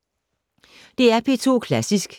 DR P2 Klassisk